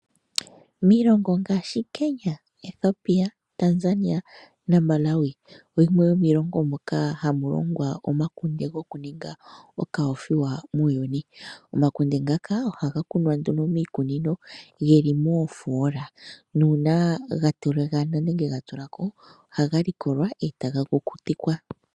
Miilongo ngaa Kenya, Ethiopia, Tanzania naMalawi, oyimwe yomiilongo moka hamu longwa omakunde hoku ninga okoothiwa muuyuni. Omakunde ngaka ohaga kunwa nduno miikunino, ge li moofola, nuuna ga tiligana nenge ga tulako, ohaga likolwa e taga kukutikwa.